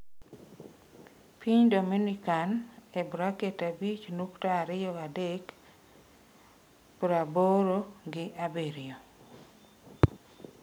Piny Dominikan (abich nukta ariyo adek) praboro gi abirio.